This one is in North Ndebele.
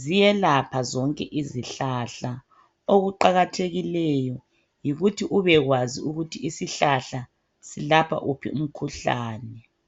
ziyelapha zonke izihlahla. Okuqakathekileyo yikuthi ubekwazi ukuthi isihlahla silapha wuphi umkhuhlane.